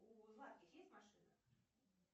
у есть машина